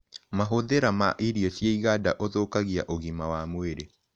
Mahũthĩra ma irio cia ĩganda ũthũkagĩa ũgima wa mwĩrĩ